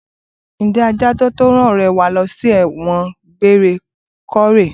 Ǹjẹ́ adájọ́ tó rán ọ̀rẹ́ẹ wa lọ sí ẹ̀wọ̀n egbére kọ́ rèé?